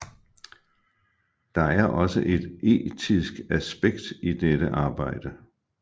Der er også et etisk aspekt i dette arbejde